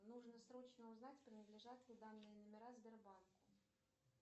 нужно срочно узнать принадлежат ли данные номера сбербанку